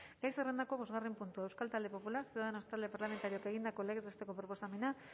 gai zerrendako bosgarren puntua euskal talde popularra ciudadanos talde parlamentarioak egindako legez besteko proposamena